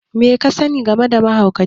me kasani game da waye mahauci?